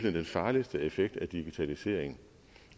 er den farligste effekt af digitalisering